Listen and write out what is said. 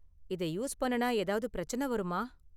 இதை யூஸ் பண்ணுனா ஏதாவது பிரச்சனை வருமா?